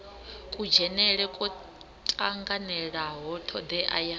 kudzhenele kwo tanganelaho thodea ya